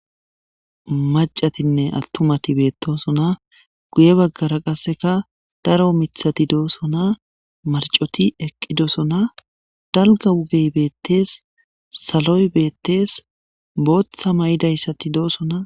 Maaccattine attumati betossona guye baggara qasseka daaro miththay dossona maarccoti eqqiddossona daalgga wuugey bettes saaloy bettes Booththa mayidayssati dossona.